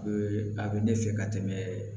a bɛ ne fɛ ka tɛmɛ